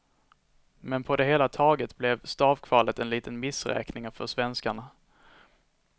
Men på det hela taget blev stavkvalet en liten missräkning för svenskarna.